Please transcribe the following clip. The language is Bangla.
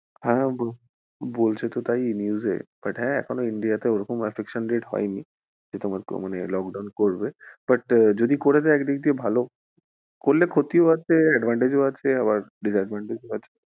হ্যাঁ বল~বলছে তো তাই news এ but হ্যাঁ India তে এখনও ওইরকম affection rate হয়নি যে তোমার মানে যে lockdown করবে but যদি করে দেয় একদিক দিয়ে ভালো করলে ক্ষতি ও আছে advantage ও আছে আবার disadvantage ও আছে।